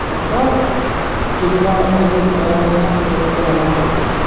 அப்றொ ஜிம்மோட ஜிம்முக்கு தேவையான பொருட்கள் எல்லா இருக்கு.